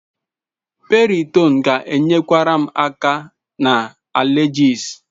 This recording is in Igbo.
Piriton ga-enyekwara m aka na allergies.